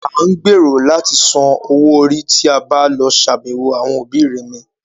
À ń gbèrò láti san owó orí tí a bá lọ ṣàbẹ̀wọ̀ àwọn òbí remẹ̀